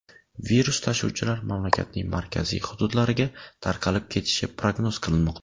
Virus tashuvchilar mamlakatning markaziy hududlariga tarqalib ketishi prognoz qilinmoqda.